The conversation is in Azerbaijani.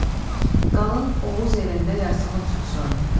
Qalın Oğuz elində yasımı tutsun.